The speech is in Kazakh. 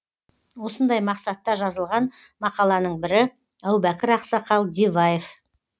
осындай мақсатта жазылған мақаланың бірі әубәкір ақсақал диваев